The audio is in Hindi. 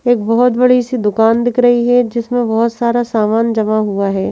क बहुत बड़ी सी दुकान दिख रही है जिसमें बहुत सारा सामान जमा हुआ हैं।